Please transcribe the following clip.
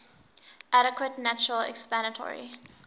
adequate natural explanatory